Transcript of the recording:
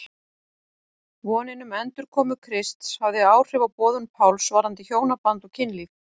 Vonin um endurkomu Krists hafði áhrif á boðun Páls varðandi hjónaband og kynlíf.